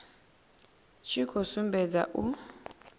tshi khou sumbedza u